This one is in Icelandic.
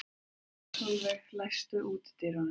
Solveig, læstu útidyrunum.